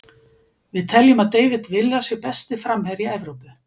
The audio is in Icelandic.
Við teljum að David Villa sé besti framherji Evrópu.